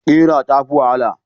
Ƙira ta fi wahala.